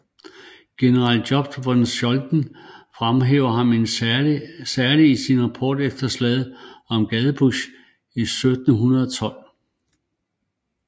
General Jobst von Scholten fremhæver ham særlig i sin rapport efter slaget ved Gadebusch 1712